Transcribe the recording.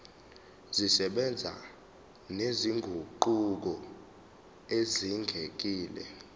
zisebenza nezinguquko ezidingekile